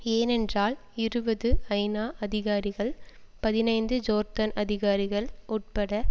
ஏனென்றால் இருபது ஐநா அதிகாரிகள் பதினைந்து ஜோர்தான் அதிகாரிகள் உட்பட